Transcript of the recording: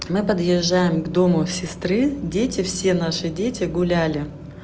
мы подъезжаем к дому сестры дети все наши дети гуляли